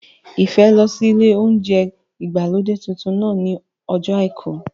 Ìfẹ́ lọ sí ilé óúnjẹ ìgbàlódé tuntun náà ní ọjọ́ àìkú